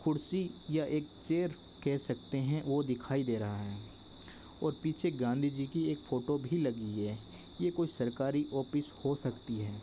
कुर्सी या एक चेयर कह सकते हैं वो दिखाई दे रहा हैं और पीछे गांधीजी कि एक फोटो भी लगी हैं ये कोई सरकारी ऑफिस हो सकती हैं।